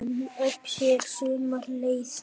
Um Öxi er sumarleið